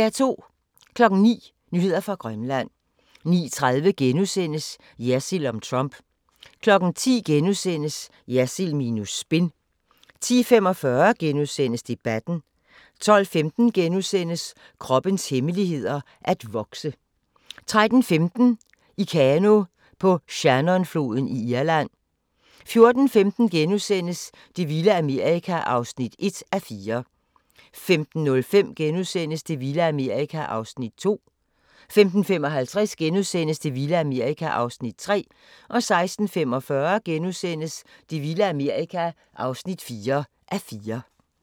09:00: Nyheder fra Grønland 09:30: Jersild om Trump * 10:00: Jersild minus spin * 10:45: Debatten * 12:15: Kroppens hemmeligheder: At vokse * 13:15: I kano på Shannonfloden i Irland 14:15: Det vilde Amerika (1:4)* 15:05: Det vilde Amerika (2:4)* 15:55: Det vilde Amerika (3:4)* 16:45: Det vilde Amerika (4:4)*